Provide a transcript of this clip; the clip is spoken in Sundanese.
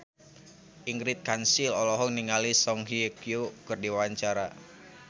Ingrid Kansil olohok ningali Song Hye Kyo keur diwawancara